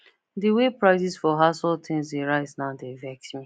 the way prices for household things dey rise now dey vex me